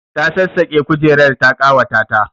Ta sassaƙe kujerar ta ƙawata ta